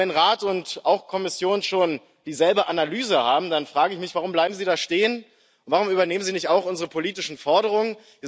Aber wenn Rat und Kommission schon dieselbe Analyse haben, dann frage ich mich Warum bleiben sie da stehen, warum übernehmen sie nicht auch unsere politischen Forderungen?